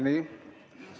Nii?